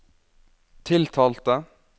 tiltalte